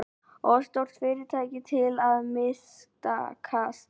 Of stór fyrirtæki til að mistakast